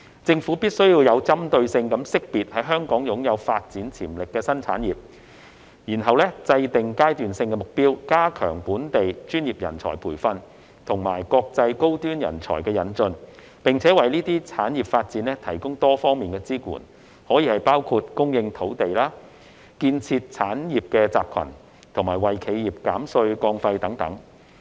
政府必須有針對性識別在香港擁有發展潛力的新產業，然後制訂階段性目標，加強本地專業人才培訓及國際高端人才引進，並為這些產業發展提供多方面的支援，包括供應土地、建設產業集群、為企業減稅降費等。